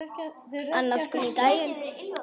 Annað kom á daginn.